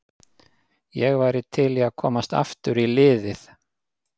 Ég væri til í að komast aftur í liðið.